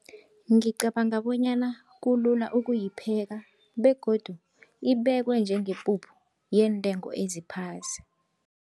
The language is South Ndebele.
Ngicabanga bonyana kulula ukuyipheka begodu ibekwe njengepuphu yeentengo eziphasi.